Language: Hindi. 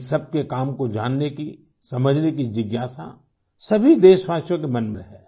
इन सबके काम को जानने की समझने की जिज्ञासा सभी देशवासियों के मन में है